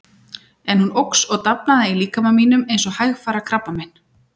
En hún óx og dafnaði í líkama mínum eins og hægfara krabbamein.